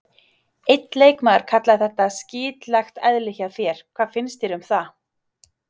Einn leikmaður kallaði þetta skítlegt eðli hjá þér, hvað finnst þér um það?